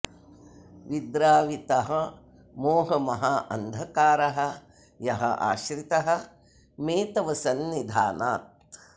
विद्रावितः मोह महा अन्धकारः यः आश्रितः मे तव सन्निधानात्